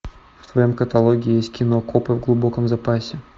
в твоем каталоге есть кино копы в глубоком запасе